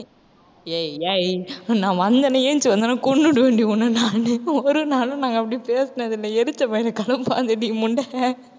ஏய் ஏய் நான் வந்தேன்னா எழுந்திருச்சு வந்தன்னா கொன்னுடுவேன்டி உன்னை நானு. ஒரு நாளும் நாங்க அப்படி பேசுனதில்லை எரிச்ச மயிரை கிளப்பாதடி முண்டை